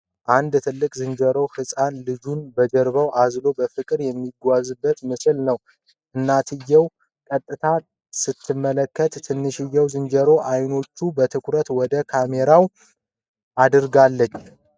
አንድ ትልቅ ዝንጀሮ ህጻን ልጁን በጀርባው አዝሎ በፍቅር የሚጓዝበት ምስል ነው። እናትየው ቀጥታ ስትመለከት፥ ትንሽዬዋ ዝንጀሮ ዓይኖቿን በትኩረት ወደ ካሜራው አድርጋለች።